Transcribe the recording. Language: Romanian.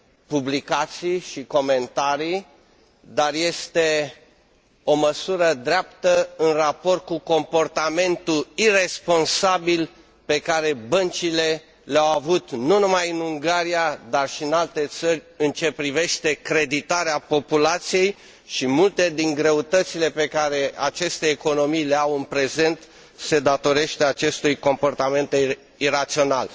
publicații și comentarii, dar este o măsură dreaptă în raport cu comportamentul iresponsabil pe care băncile l au avut nu numai în Ungaria, dar și în alte țări, în ce privește creditarea populației, și multe din greutățile pe care aceste economii le au în prezent se datorează acestui comportament irațional.